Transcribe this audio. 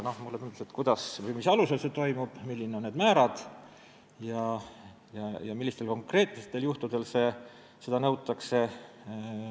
Ma tahtsin teada, kuidas või mis alusel see toimub, millised on need määrad ja millistel konkreetsetel juhtudel seda tasu nõutakse.